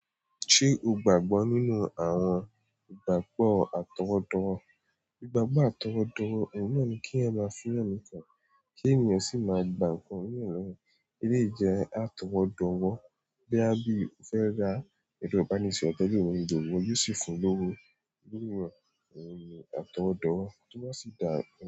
Ṣé o gbàgbọ́ nínú àwọn ìgbàgbọ́ àtọwọ́dọ́wọ́? Ìgbàgbọ́ àtọwọ́dọ́wọ́, òun náà ni kí yan máa fiyàn mi kàn, kí ènìyàn sì máa gba ǹkan nírọ̀rùn, eré jẹ́ á tọ́wọ́dọ́wọ́. Bí a bí o fẹ́ ra ẹ̀rọ ìbánisọ̀rọ̀ tó jẹ́ òun gbogbo yóò sì fún un lówó. Lórí wọ̀, òun ni àtọwọ́dọ́wọ́, tó bá sì dáa.